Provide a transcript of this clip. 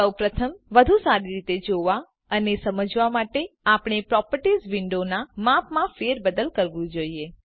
સૌપ્રથમ વધુ સારી રીતે જોવા અને સમજવાં માટે આપણે આપણા પ્રોપર્ટીઝ વિન્ડોનાં માપમાં ફેરબદલ કરવું જોઈએ